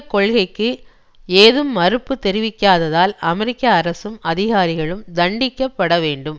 கொள்கைக்கு ஏதும் மறுப்பு தெரிவிக்காததால் அமெரிக்க அரசும் அதிகாரிகளும் தண்டிக்கப்படவேண்டும்